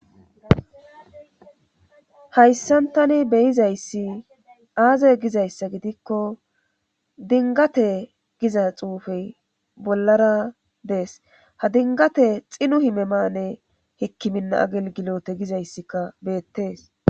Hayssantani beyizayssi aaze gizayssa gidikko dingate giza xuufey bollara dees ha dingate xinu himemane hikkiminna agelgilote gizayssika beettees